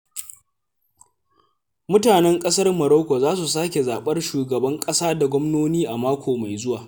Mutanen ƙasar Maroko za su sake zaɓar shugban ƙasa da gwamnoni a mako mai zuwa.